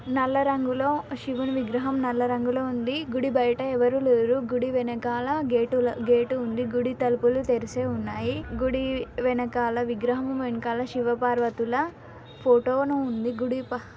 నల్ల రంగులో శివుడి విగ్రహం నల్లరంగులో ఉంది. గుడి బయట ఎవరూ లేరు. గుడి వెనకాల గేటు లో గేటు ఉంది. గుడి తలుపులు తెరిచి ఉన్నాయి. గుడి వెనకాల విగ్రహం వెనకాల శివపార్వతుల ఫోటో ను ఉంది. గుడి --